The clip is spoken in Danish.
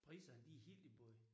Priserne de helt i bund